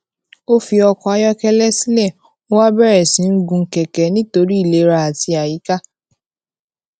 ó fi ọkò ayókélé sílè ó wá bèrè sí í gun kèké nítorí ìlera àti àyíká